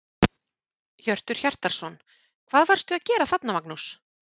Hjörtur Hjartarson: Hvað varstu að gera þarna Magnús?